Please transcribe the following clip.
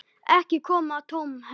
Ekki koma tómhent